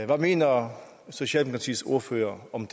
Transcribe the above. hvad mener socialdemokratiets ordfører om